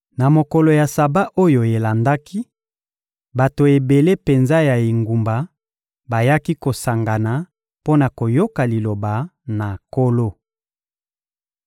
Na mokolo ya Saba oyo elandaki, bato ebele penza ya engumba bayaki kosangana mpo na koyoka Liloba na Nkolo.